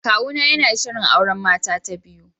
Kawuna yana shirin auren mata ta biyu